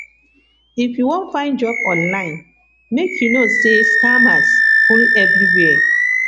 if you wan find job online make you know sey scammers full everywhere